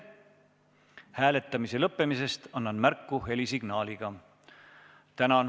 Hääletamise lõppemisest annan märku helisignaaliga.